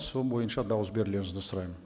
сол бойынша дауыс берулеріңізді сұраймын